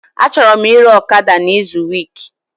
Achọrọ m ire ọkada na izu week